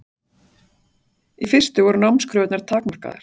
Í fyrstu voru námskröfurnar takmarkaðar.